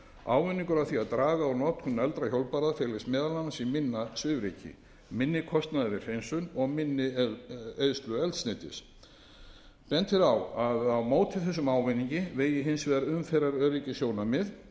ávinningur af því að draga úr notkun negldra hjólbarða felst meðal annars í minna svifryki minni kostnaði við hreinsun og minni eyðslu eldsneytis bent er á að á móti þessum ávinningi vegi hins vegar umferðaröryggissjónarmið